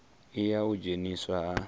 i ya u dzheniswa ha